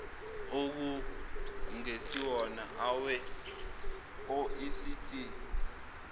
okungesiwona awe oecd